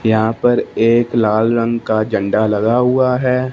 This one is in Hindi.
यहां पर एक लाल रंग का झंडा लगा हुआ है।